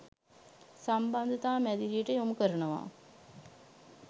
සම්බන්ධතා මැදිරියට යොමු කරනවා